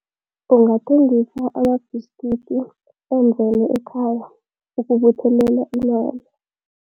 Ungathengisa amabhiskidi enzelwe ekhaya ukubuthelela imali.